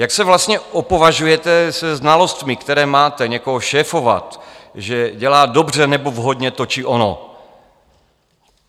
Jak se vlastně opovažujete se znalostmi, které máte, někoho šéfovat, že dělá dobře nebo vhodně to či ono?